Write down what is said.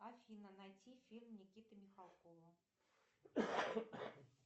афина найти фильм никиты михалкова